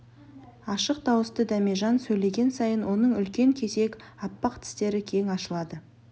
ашық дауысты дәмежан сөйлеген сайын оның үлкен кесек аппақ тістері кең ашылады